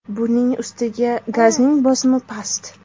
Buning ustiga gazning bosimi past.